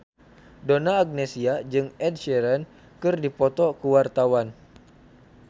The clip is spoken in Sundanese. Donna Agnesia jeung Ed Sheeran keur dipoto ku wartawan